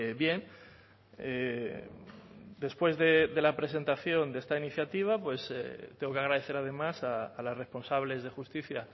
bien después de la presentación de esta iniciativa tengo que agradecer además a las responsables de justicia